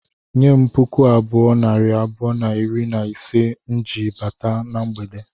Nye m puku abụọ, nari abụọ na iri na ise m ji bata na mgbede